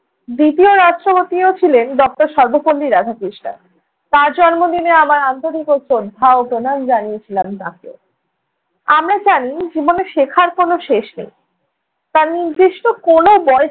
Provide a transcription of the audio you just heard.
দ্বিতীয় রাষ্ট্রপতিও ছিলেন doctor সর্বপল্লী রাধাকৃষ্ণণ। তাঁর জন্মদিনে আমার আন্তরিক শ্রদ্ধা ও প্রণাম জানিয়েছিলাম তাঁকে। আমরা জানি জীবনে শেখার কোনো শেষ নেই। তার নির্দিষ্ট কোনো বয়স